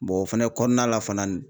o fɛnɛ kɔnɔna la fanani